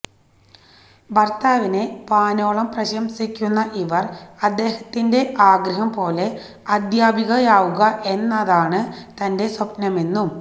ഭര്ത്താവിനെ വാനോളം പ്രശംസിക്കുന്ന ഇവര് അദ്ദേഹത്തിന്റെ ആഗ്രഹം പോലെ അധ്യാപികയാവുക എന്നതാണ് തന്റെ സ്വപ്നമെന്നും